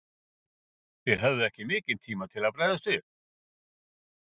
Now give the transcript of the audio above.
Þið höfðuð ekki mikinn tíma til þess að bregðast við?